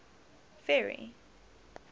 ferry